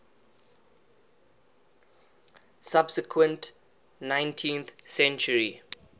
subsequent nineteenth century